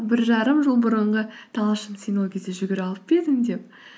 бір жарым жыл бұрынғы талшын сен ол кезде жүгіріп алып па едің деп